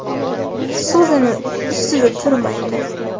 So‘zini ustida turmaydi.